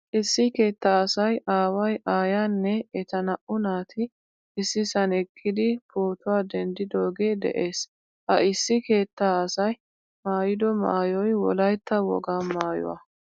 Issi keetta asay aaway aayyaanne etta naa'u naati issisan eqqidi pootuwaa dendiddoge de'ees. Ha issi keettaa asay maayido maayoy wolaytta wogaa maauywaa.